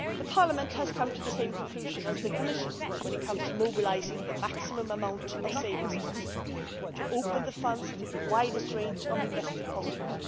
Parliament has come to the same conclusions as the Commission when it comes to mobilising the maximum amount of savings possible to open the funds to the widest range of investors possible